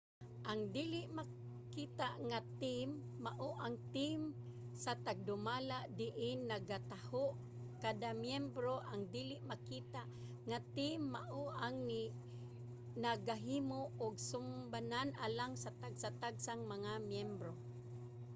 ang dili makita nga team mao ang team sa tagdumala diin nagataho kada miyembro. ang dili makita nga team mao ang nagahimo og sumbanan alang sa tagsa-tagsang mga miyembro